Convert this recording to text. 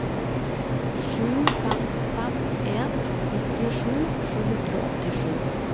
sju fem fem en nittisju sju hundre og åttisju